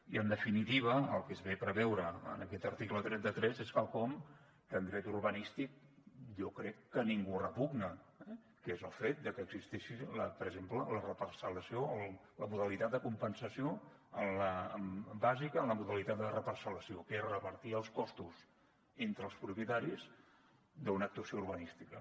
i en definitiva el que es ve a preveure en aquest article trenta tres és quelcom que en dret urbanístic jo crec que a ningú repugna eh que és el fet de que existeixi per exemple la reparcel·lació o la modalitat de compensació bàsica en la modalitat de reparcel·lació que és repartir els costos entre els propietaris d’una actuació urbanística